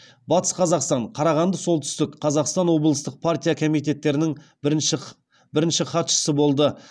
батыс қазақстан қарағанды солтүстік қазақстан облыстық партия комитеттерінің бірінші хатшысы болды